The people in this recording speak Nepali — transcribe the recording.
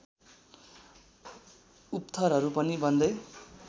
उपथरहरू पनि बन्दै